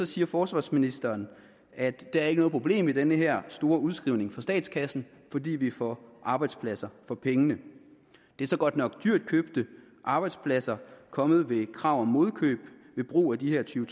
siger forsvarsministeren at der ikke er noget problem i den her store udskrivning for statskassen fordi vi får arbejdspladser for pengene det er så godt nok dyrt købte arbejdspladser kommet ved krav om modkøb ved brug af de her tyve